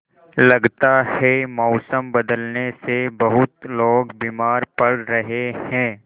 लगता है मौसम बदलने से बहुत लोग बीमार पड़ रहे हैं